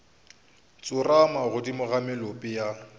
tsorama godimo ga molope ya